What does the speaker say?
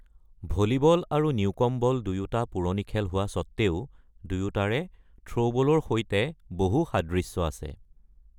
Volleyball আৰু newcomb ball দুয়োটা পুৰণি খেল হোৱা স্বত্তেও দুয়োটাৰে থ্ৰ’বলৰ সৈতে বহু সাদৃশ্য আছে।